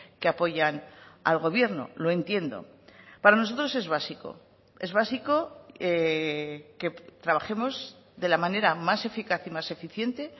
que apoyan al gobierno lo entiendo para nosotros es básico es básico que trabajemos de la manera más eficaz y más eficiente